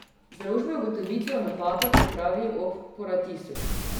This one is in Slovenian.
Založbe ugotovitve o napakah odpravijo ob ponatisu.